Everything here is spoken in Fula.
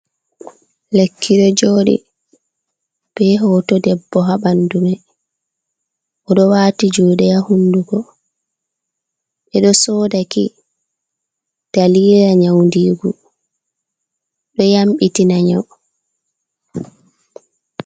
Lekki ɗo jodi be hoto debbo ha ɓandu mai, o ɗo wati jude ha hunduko, ɓe ɗo sodaki dalila nyaudigo, ɓe yambitina nyau.